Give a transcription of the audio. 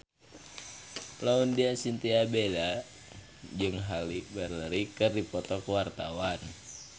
Laudya Chintya Bella jeung Halle Berry keur dipoto ku wartawan